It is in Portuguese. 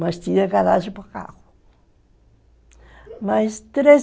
Mas tinha garagem para o carro. Mas,